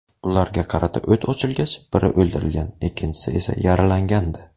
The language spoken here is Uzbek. Ularga qarata o‘t ochilgach biri o‘ldirilgan, ikkinchisi esa yaralangandi.